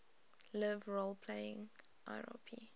live role playing lrp